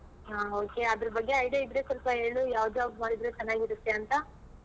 ಹಾ okay ಅದ್ರ ಬಗ್ಗೆ idea ಇದ್ರೆ ಹೇಳು ಯಾವ್ job ಮಾಡಿದ್ರೆ ಚೆನ್ನಾಗಿ ಇರುತ್ತೆ ಅಂತ.